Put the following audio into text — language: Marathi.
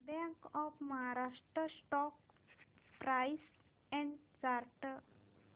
bank of Maharashtra stock price and chart